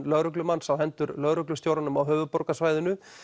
lögreglumanns á hendur lögreglustjóranum á höfuðborgarsvæðinu